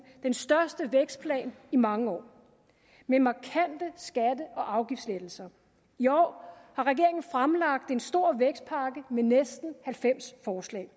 den største vækstplan i mange år med markante skatte og afgiftslettelser i år har regeringen fremlagt en stor vækstpakke med næsten halvfems forslag